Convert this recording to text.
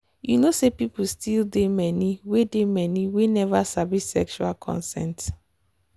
you know say people still dey many we dey many we never sabi sexual consent.